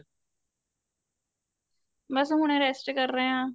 ਬੱਸ ਹੁਣੇ rest ਕਰ ਰਹੇ ਆ